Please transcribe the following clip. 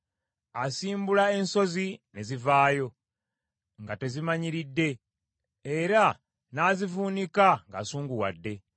Asimbula ensozi ne zivaayo nga tezimanyiridde era n’azivuunika ng’asunguwadde.